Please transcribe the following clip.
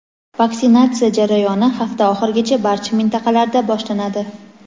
Vaksinatsiya jarayoni hafta oxirigacha barcha mintaqalarda boshlanadi.